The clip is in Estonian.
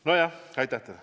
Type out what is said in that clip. Aitäh teile!